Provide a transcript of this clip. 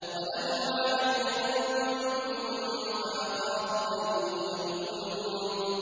وَلَهُمْ عَلَيَّ ذَنبٌ فَأَخَافُ أَن يَقْتُلُونِ